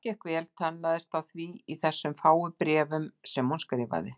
Allt gekk vel, tönnlaðist á því í þessum fáu bréfum sem hún skrifaði.